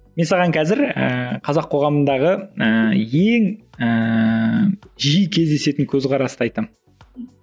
мен саған қазір ііі қазақ қоғамындағы ііі ең ііі жиі кездесетін көзқарасты айтамын